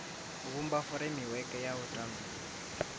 vhumba furemiweke ya u tandulula